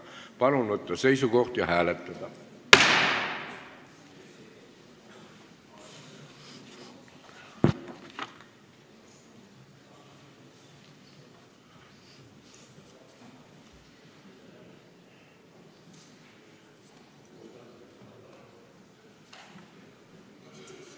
Palun võtta seisukoht ja hääletada!